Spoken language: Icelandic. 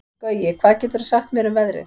Gaui, hvað geturðu sagt mér um veðrið?